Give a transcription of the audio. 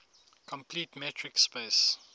complete metric space